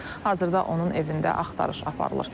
Hazırda onun evində axtarış aparılır.